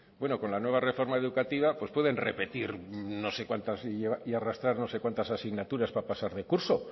bueno con la nueva reforma educativa pues pueden repetir no sé cuantas y arrastrar no sé cuantas asignaturas para pasar de curso